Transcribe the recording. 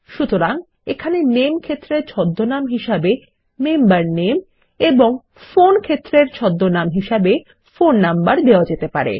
সুতরাং এখানে নামে ক্ষেত্রের ছদ্মনাম হিসেবে মেম্বার নামে এবং ফোন ক্ষেত্রের ছদ্মনাম হিসেবে ফোন নাম্বার দেওয়া যেতে পারে